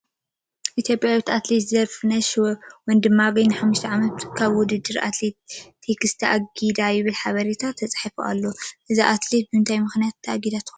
ኢትዮጵያዊት ኣትሌት ዘርፍነሽ ወንድማገኝ ንሓሙሽተ ዓመት ካብ ውድደር ኣትሌቲክስ ተኣጊዳ ይብል ሓበሬታ ተፃሒፉ ኣሎ፡፡ እዛ ኣትሌት ብምንታይ ምኽንያት ተኣጊዳ ትኾን?